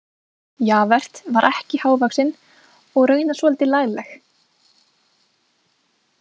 Javert var ekki hávaxin og raunar svolítið lagleg.